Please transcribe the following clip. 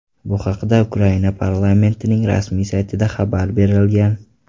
Bu haqda Ukraina parlamentining rasmiy saytida xabar berilgan .